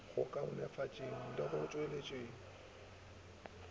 go kaonafatšeng le go tšwetšeng